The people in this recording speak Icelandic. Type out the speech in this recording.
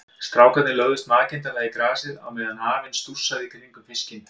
Strákarnir lögðust makindalega í grasið á meðan afinn stússaði í kringum fiskinn.